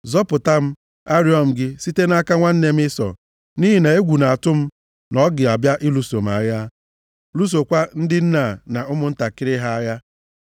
Zọpụta m, arịọ m gị, site nʼaka nwanne m Ịsọ, nʼihi na egwu na-atụ m na ọ ga-abịa lụso m agha, lụsokwa ndị nne a na ụmụntakịrị ha agha.